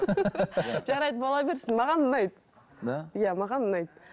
жарайды бола берсін маған ұнайды да иә маған ұнайды